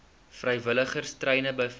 vrywilligers treine beveilig